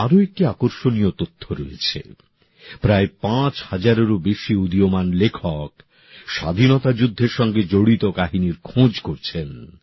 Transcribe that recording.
আরও একটি আকর্ষণীয় তথ্য রয়েছে প্রায় পাঁচ হাজারেরও বেশি উদীয়মান লেখক স্বাধীনতা যুদ্ধের সঙ্গে জড়িত কাহিনীর খোঁজ করছেন